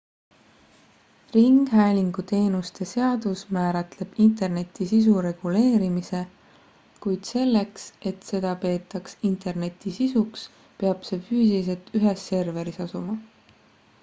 ringhäälingu teenuste seadus määratleb interneti sisu reguleerimise kuid selleks et seda peetaks interneti sisuks peab see füüsiliselt ühes serveris asuma